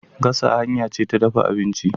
Gasa hanya ce ta dafa abinci.